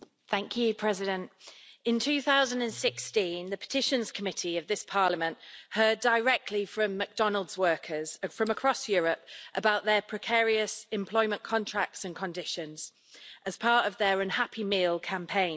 Madam President, in 2016, the Committee on Petitions of this Parliament heard directly from McDonald's workers from across Europe about their precarious employment contracts and conditions as part of their Unhappy Meal' campaign.